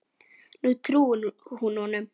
Nú trúir hún honum.